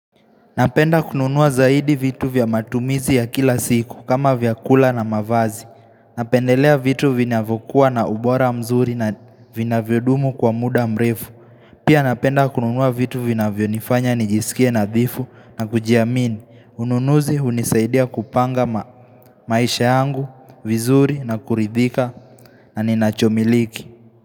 Napenda kununua zaidi vitu vya matumizi ya kila siku kama vyakula na mavazi Napendelea vitu vinavyokua na ubora mzuri na vinavyodumu kwa muda mrefu Pia napenda kununua vitu vinavyonifanya nijisikie nadhifu na kujiamini ununuzi hunisaidia kupanga maisha yangu vizuri na kuridhika na ninachomiliki.